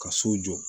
Ka so jɔ